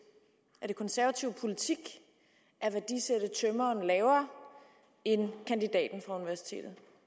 er det konservativ politik at værdisætte tømreren lavere end kandidaten fra universitetet